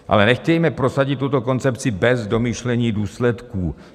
Ale nechtějme prosadit tuto koncepci bez domýšlení důsledků.